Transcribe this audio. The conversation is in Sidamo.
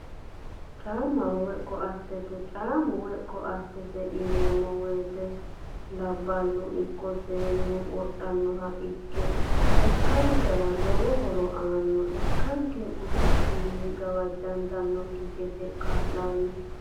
Caa'maho woyi koattete, caa'mu woyi koatete yineemo woyite labalu ikko seenu wodhanoha ikke lekan'nkera lowo horo aanna, lekanke gufichuni gawajantanokki gede kaa'lano